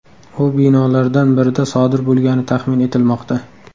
U binolardan birida sodir bo‘lgani taxmin etilmoqda.